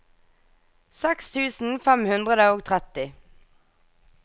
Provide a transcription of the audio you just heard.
seks tusen fem hundre og tretti